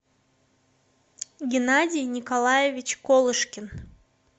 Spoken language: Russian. геннадий николаевич колышкин